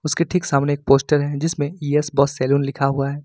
उसके ठीक सामने एक पोस्टर है जिसमें यस बॉस सैलून लिखा हुआ है।